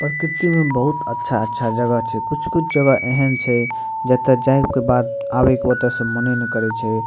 प्रकृति में बहुत अच्छा-अच्छा जगह छै कुछ-कुछ जगह एहन छै जेता जाय के बाद आवे के ओता से मने ने करे छै।